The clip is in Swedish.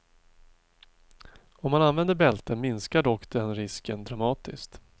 Om man använder bälte minskar dock den risken dramatiskt.